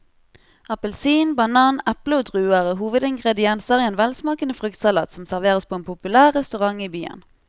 Appelsin, banan, eple og druer er hovedingredienser i en velsmakende fruktsalat som serveres på en populær restaurant i byen.